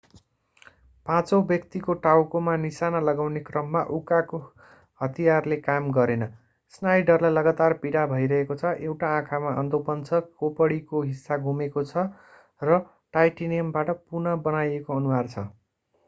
पाँचौँ व्यक्तिको टाउकोमा निशाना लगाउने क्रममा उकाको हतियारले काम गरेन स्नाइडरलाई लगातार पीडा भइरहेको छ एउटा आँखामा अन्धोपन छ खोपडीको हिस्सा गुमेको छ र टाइटानियमबाट पुनः बनाइएको अनुहार छ